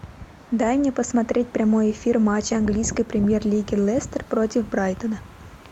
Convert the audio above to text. дай мне посмотреть прямой эфир матча английской премьер лиги лестер против брайтона